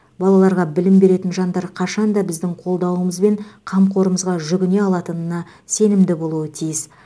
балаларға білім беретін жандар қашан да біздің қолдауымыз бен қамқорымызға жүгіне алатынына сенімді болуы тиіс